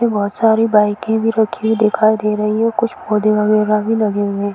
यहाँ पे बहोत सारी बाइकें भी रुकी हुई दिखाई दे रही हैं। कुछ पौधे वगैरा भी लगे हुए हैं।